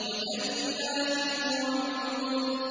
وَجَنَّاتٍ وَعُيُونٍ